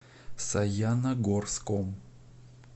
саяногорском